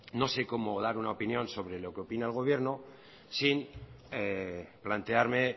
no sé cómo dar una opinión sobre lo que opina el gobierno sin plantearme